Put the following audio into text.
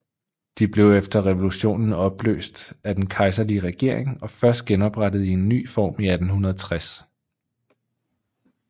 De blev efter revolutionen opløst af den kejserlige regering og først genoprettet i en ny form i 1860